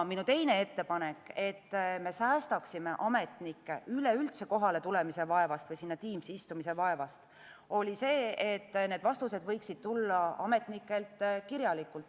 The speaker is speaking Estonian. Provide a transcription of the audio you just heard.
Minu teine ettepanek, et säästa ametnikke kohaletulemise vaevast või Teamsi istumise vaevast, oli see, et need vastused võiksid tulla ametnikelt kirjalikult.